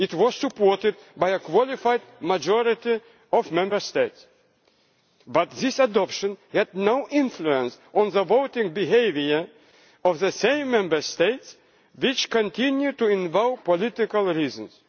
It was supported by a qualified majority of Member States, but this adoption had no influence on the voting behaviour of the same Member States which continue to invoke political reasons.